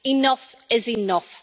Enough is enough.